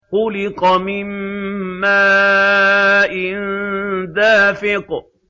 خُلِقَ مِن مَّاءٍ دَافِقٍ